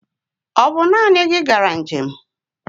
Ọ naanị gị gara njem?